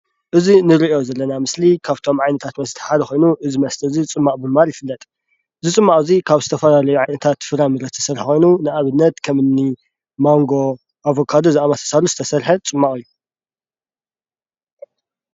እዚ ንርኦ ዘለና ምስሊ ካብቶም ዓይነታት መስተ ሓደ ኮይኑ እዚ መስተ እዚ ፅሟቕ ብምባል ይፍለጥ። እዚ ፅሟቕ እዚ ካብ ዝተፈላለዩ ዓይነታት ፍራምረ ዝተሰረሐ ኮይኑ፣ ንኣብነት ከምኒ ማንጎ፣ ኣቫካዶ ዝኣምሰሉ ዝተሰረሐ ፅሟቕ እዩ።